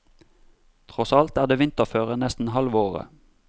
Tross alt er det vinterføre nesten halve året.